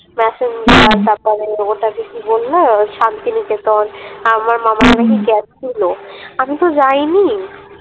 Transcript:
তারপরে ওটাকে কি বললো শান্তিনিকেতন আমার গেছিলো আমিতো যাইনি